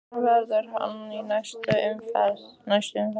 Hvar verður hann í næstu umferð?